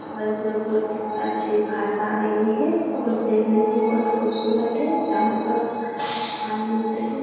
और इसमें बोहोत अच्छी घास आ रही है और देखने में बोहोत खूबसूरत है जहाँ पर धान मिलते हैं।